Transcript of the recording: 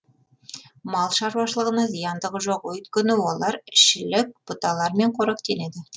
мал шаруашылығына зияндығы жоқ өйткені олар шілік бұталармен қоректенеді